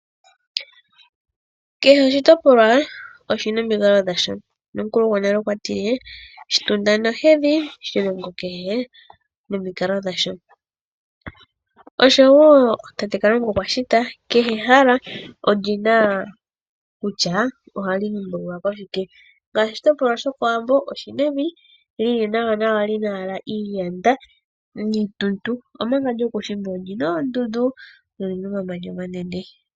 Kehe oshitopolwa oshina omikalo dhasho. Nomukulu gwonale okwa tile shitunda nohedhi shilongo kehe nomikalo dhasho. Oshowo tate Kalunga okwa shita kehe ehala olina kutya ohali dhimbululwa koshike. Ngaashi oshitopolwa shokowambo oshina evi lili nawa nawa lina iiyanda niituntu. Omanga lyokuushimba olina oondundu lyo olina omamanya omanene.